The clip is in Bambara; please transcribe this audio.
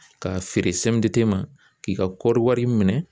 K'a feere ma k'i ka kɔɔri wari minɛ